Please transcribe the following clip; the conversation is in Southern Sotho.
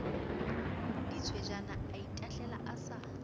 ditswejane a itahlela a sa